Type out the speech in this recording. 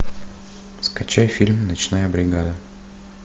скачай фильм ночная бригада